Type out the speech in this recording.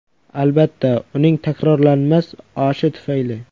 Albatta, uning takrorlanmas oshi tufayli.